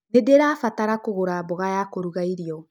Nĩndĩrabatara kũgũra mboga ya kũruga irĩo